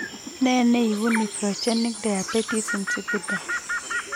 Nee neibu nephrogenic diabetes insipidus?